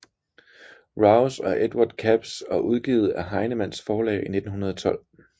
Rouse og Edward Capps og udgivet af Heinemanns forlag i 1912